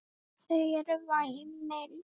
Þau eru væmin.